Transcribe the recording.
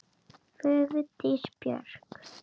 Vigdís Björk.